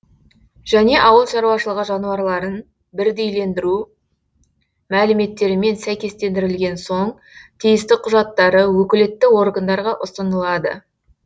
және ауылшаруашылығы жануарларын бірдейлендіру мәліметтерімен сәйкестендірілген соң тиісті құжаттары өкілетті органдарға ұсынылады